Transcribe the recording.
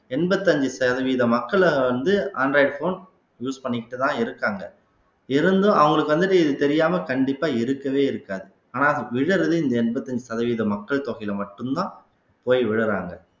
எண்பத்தி அஞ்சு சதவீத மக்களை வந்து android phone use பண்ணிக்கிட்டுதான் இருக்காங்க இருந்தும் அவங்களுக்கு வந்துட்டு இது தெரியாம கண்டிப்பா இருக்கவே இருக்காது ஆனா விழறது இந்த எண்பத்தி அஞ்சு சதவீத மக்கள் தொகையில மட்டும்தான் போய் விழுறாங்க